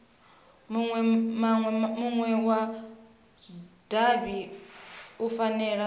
munwe wa davhi u fanela